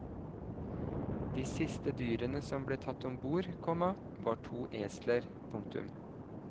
De siste dyrene som ble tatt ombord, komma var to esler. punktum